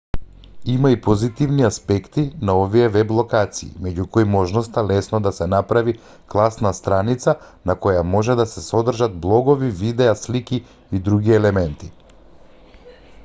има и позитивни аспекти на овие веб-локации меѓу кои можноста лесно да се направи класна страница на која може да се содржат блогови видеа слики и други елементи